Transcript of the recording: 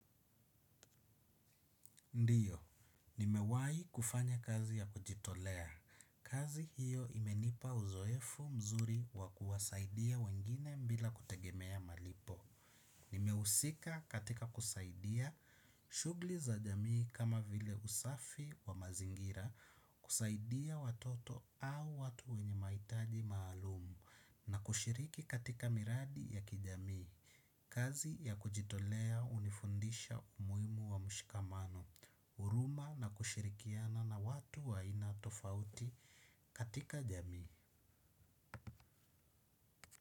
Ndiyo, nimewahi kufanya kazi ya kujitolea. Kazi hiyo imenipa uzoefu mzuri wa kuwasaidia wengine bila kutegemea malipo. Nimehusika katika kusaidia shughuli za jamii kama vile usafi wa mazingira kusaidia watoto au watu wenye mahitaji maalumu na kushiriki katika miradi ya kijamii. Kazi ya kujitolea hunifundisha umuhimu wa mshikamano, huruma na kushirikiana na watu wa aina tofauti katika jamii.